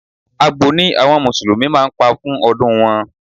Àgbò ni àwọn musulumi máa ń pa fún ọdún wọn.